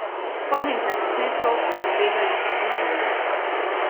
Spomnim se posnetkov, ko so begali po grmovju.